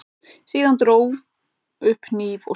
Dró síðan upp hníf og skar.